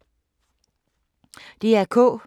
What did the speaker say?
DR K